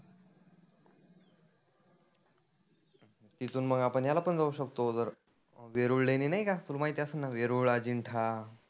तीथुन मग आपण ह्याला पण जाऊ शकतो जर वेरुळ लेणी नाही का. तुला माहिती असेल ना वेरुळ, आजिंठा.